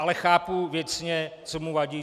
Ale chápu věcně, co mu vadí.